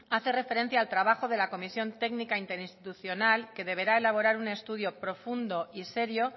hace referencia al trabajo de la comisión técnica interinstitucional que deberá elaborar un estudio profundo y serio